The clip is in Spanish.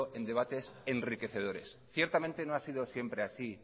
en debates enriquecedores ciertamente no ha sido siempre así